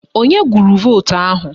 Onye gụrụ vootu ahụ?